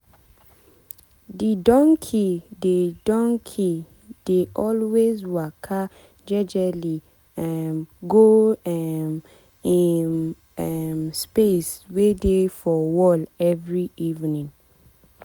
de donkey dey donkey dey always waka jejely um go um im um space wey dey for wall every evening.